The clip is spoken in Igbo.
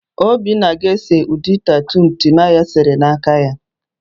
Obinna ga-ese ụdị tatu Timaya sere n'aka ya.